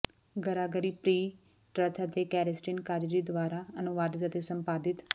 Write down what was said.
Gregory P Trauth ਅਤੇ Kerstin Kazzazi ਦੁਆਰਾ ਅਨੁਵਾਦਿਤ ਅਤੇ ਸੰਪਾਦਿਤ